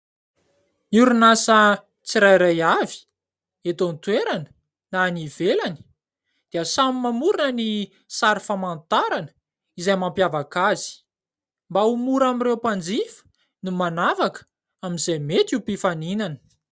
N'y orinan' asa tsirairay avy , eto an -toerana na any ivelany dia samy mamorona ny sary famantarana izay mampiavaka azy; mba ho mora amin'ireo mpanjifa ny manavaka amin'izay mety ho mpifaninana .